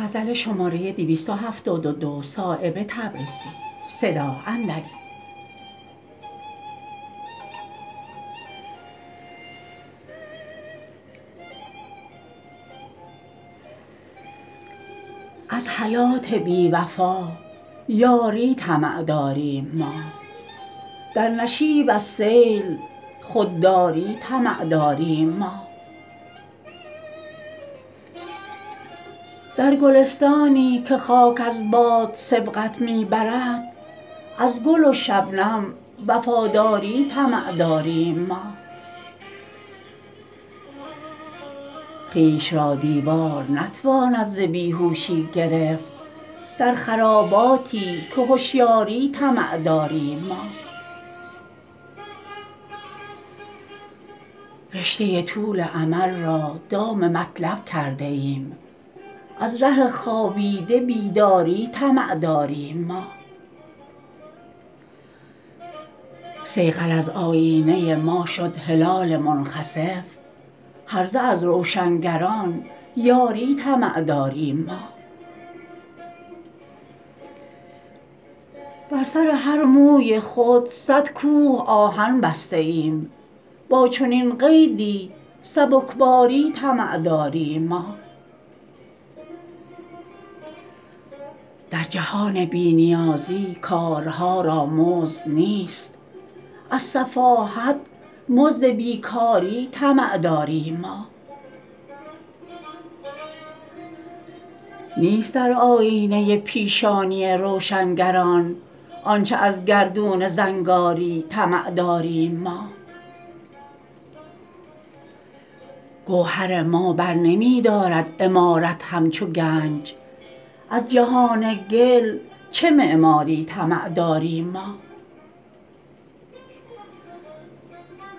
از حیات بی وفا یاری طمع داریم ما در نشیب از سیل خودداری طمع داریم ما در گلستانی که خاک از باد سبقت می برد از گل و شبنم وفاداری طمع داریم ما خویش را دیوار نتواند ز بیهوشی گرفت در خراباتی که هشیاری طمع داریم ما رشته طول امل را دام مطلب کرده ایم از ره خوابیده بیداری طمع داریم ما صیقل از آیینه ما شد هلال منخسف هرزه از روشنگران یاری طمع داریم ما بر سر هر موی خود صد کوه آهن بسته ایم با چنین قیدی سبکباری طمع داریم ما در جهان بی نیازی کارها را مزد نیست از سفاهت مزد بیکاری طمع داریم ما نیست در آیینه پیشانی روشنگران آنچه از گردون زنگاری طمع داریم ما گوهر ما برنمی دارد عمارت همچو گنج از جهان گل چه معماری طمع داریم ما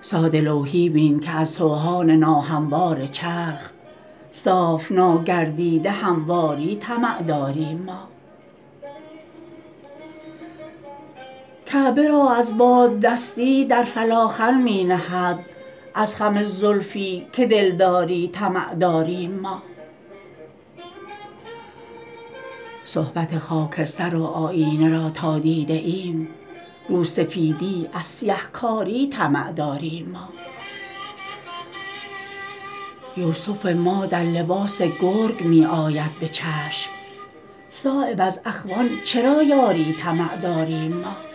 ساده لوحی بین که از سوهان ناهموار چرخ صاف ناگردیده همواری طمع داریم ما کعبه را از باددستی در فلاخن می نهد از خم زلفی که دلداری طمع داریم ما صحبت خاکستر و آیینه را تا دیده ایم روسفیدی از سیه کاری طمع داریم ما یوسف ما در لباس گرگ می آید به چشم صایب از اخوان چرا یاری طمع داریم ما